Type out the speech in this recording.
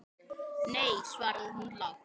Nei, svaraði hún lágt.